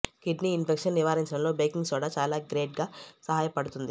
kidney infections నివారించడంలో baking soda చాలా great గా సహాయపడుతుంది